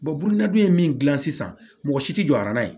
bɔn n'a dun ye min gilan sisan mɔgɔ si tɛ jɔ a na yen